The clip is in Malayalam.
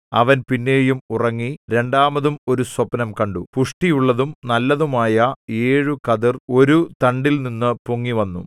അവൻ പിന്നെയും ഉറങ്ങി രണ്ടാമതും ഒരു സ്വപ്നം കണ്ടു പുഷ്ടിയുള്ളതും നല്ലതുമായ ഏഴു കതിർ ഒരു തണ്ടിൽനിന്നു പൊങ്ങിവന്നു